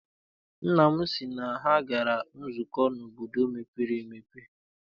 Nna m sị na ha gara nzukọ n'obodo mepere emepe.